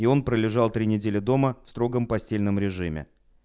и он пролежал три недели дома в строгом постельном режиме